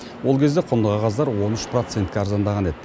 ол кезде құнды қағаздар он үш процентке арзандаған еді